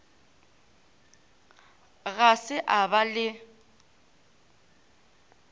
ga se a ba le